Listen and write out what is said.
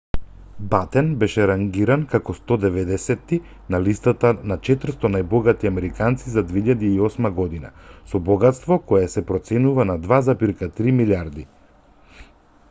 батен беше рангиран како 190ти на листата на 400 најбогати американци за 2008 година со богатство кое се проценува на $2,3 милијарди